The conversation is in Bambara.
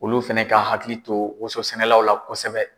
Olu fɛnɛ ka hakili to woson sɛnɛlaw la kosɛbɛ.